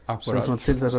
til að